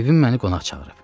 Bibim məni qonaq çağırıb.